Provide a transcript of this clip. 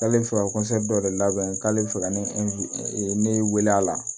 K'ale bɛ fɛ ka dɔ de labɛn k'ale bɛ fɛ ka ne ne wele a la